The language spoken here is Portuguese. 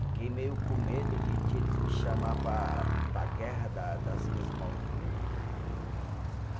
Fiquei meio com medo de de eles me chamar para para a guerra da das Ilhas Malvinas.